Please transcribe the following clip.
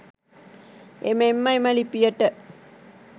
එමෙන්ම එම ලිපියට